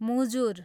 मुजुर